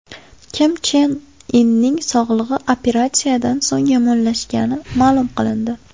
Kim Chen Inning sog‘lig‘i operatsiyadan so‘ng yomonlashgani ma’lum qilindi.